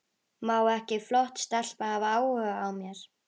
Má ekki flott stelpa hafa áhuga á mér?